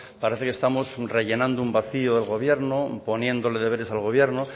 parece que estamos rellenando un vacío de gobierno poniéndole deberes al gobierno